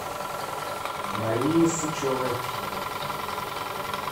марии сычевой